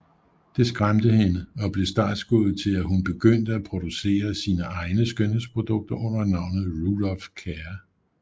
Det skræmte hende og blev startskuddet til at hun begyndte at producere sine egne skønhedsprodukter under navnet Rudolph Care